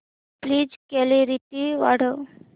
please clarity वाढव